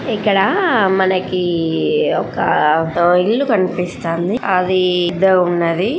ఇక్కడ మనకి ఒక ఇళ్ళు కనిపిస్తండి. ఆ వీద్ద ఉన్నవి.